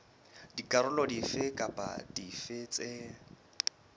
dikarolo dife kapa dife tse